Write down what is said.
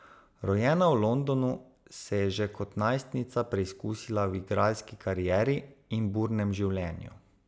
Rojena v Londonu, se je že kot najstnica preizkusila v igralski karieri in burnem življenju.